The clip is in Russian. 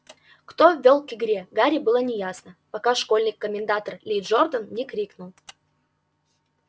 кто вёл к игре гарри было неясно пока школьный комментатор ли джордан не крикнул